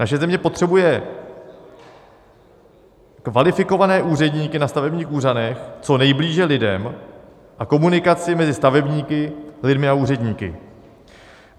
Naše země potřebuje kvalifikované úředníky na stavebních úřadech, co nejblíže lidem a komunikaci mezi stavebníky, lidmi a úředníky.